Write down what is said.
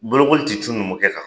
Bolokoli tɛ cun numukɛ kan.